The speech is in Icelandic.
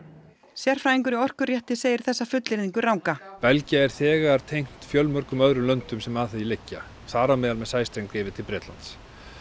sérfræðingur í segir þessa fullyrðingu ranga Belgía er þegar tengt fjölmörgum öðrum löndum sem að því liggja þar á meðal með sæstreng yfir til Bretlands